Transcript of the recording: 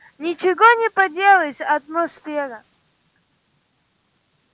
ничего не поделаешь атмосфера